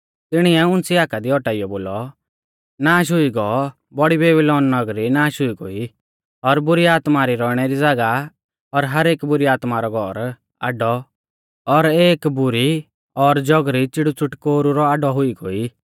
तिणिऐ उंच़ी हाका दी औटाइयौ बोलौ नाष हुई गौ बौड़ी बेबीलौन नगरी नाष हुई गोई और बुरी आत्मा री रौइणै री ज़ागाह और हर एक बुरी आत्मा रौ घौर आड्डौ और एक बुरी और जौगरी च़िड़ूच़िटकोरु रौ आड्डौ हुई गोई